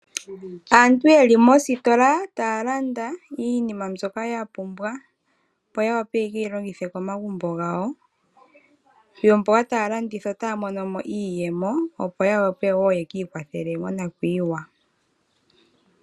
Aantu yeli mositola taya landa iinima mbyoka ya pumbwa opo ya wape yekeyi longithe komagumbo gawo, yomboka taya landitha otaya mono mo iiyemo opo yawape woo yekii kwathele monakwiiwa.